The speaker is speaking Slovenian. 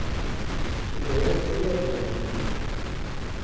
In dejansko je dejanje.